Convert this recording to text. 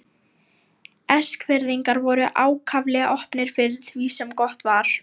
Eskfirðingar voru ákaflega opnir fyrir því sem gott var.